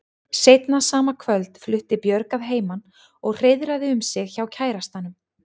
Seinna sama kvöld flutti Björg að heiman og hreiðraði um sig hjá kærastanum.